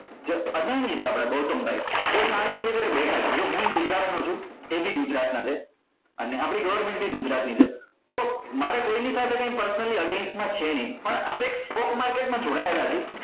જે અદાણી છે આપડા ગૌતમ ભાઈ એ શાંતિ થી બેઠા છે જો હુયે ગુજરાત નો છુ એ બી ગુજરતા ના છે અને આપડી government એ ગુજરાતી છે તો મારે કોઈ ની સાથે કોઈ personally against માં કાઈ છે નહી પણ આપડે stock market માં જોડાયેલા છે